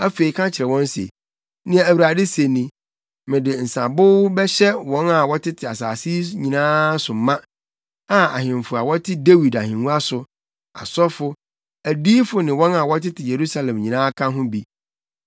afei ka kyerɛ wɔn se, ‘Nea Awurade se ni: Mede nsabow bɛhyɛ wɔn a wɔtete asase yi so nyinaa ma, a ahemfo a wɔte Dawid ahengua so, asɔfo, adiyifo ne wɔn a wɔtete Yerusalem nyinaa ka ho bi.